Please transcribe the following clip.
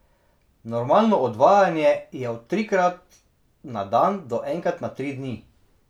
Normalno odvajanje je od trikrat na dan do enkrat na tri dni.